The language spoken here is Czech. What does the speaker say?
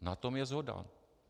Na tom je shoda.